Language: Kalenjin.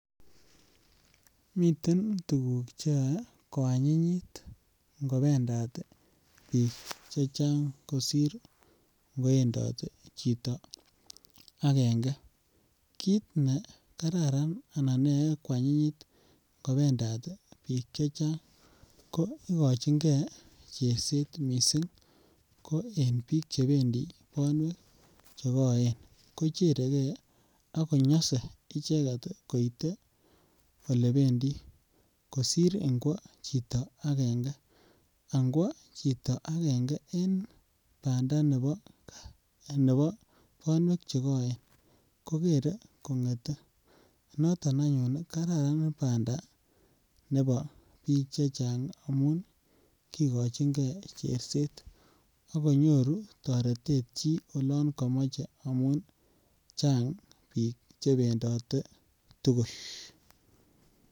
Miten tuguk che yoe ko anyinyit ngo bendat biik chechang kosir koendot chito angenge, kit ne kararan anan ne yoe kwanyinyit ngo bendat biik chechang ko igochingee cherset missing ko en biik chebendi bonwek che koen kocheregee ak konyose icheget koite ole bendi kosir ingwo chito angenge angwa chito angenge en banda nebo bonwek chekoen kogere kongete noton anyun ii kararan banda nebo biik chechang ii amun kigochingee cherset ako nyoru toretet chi olon komoche amun Chang biik che bendote tugul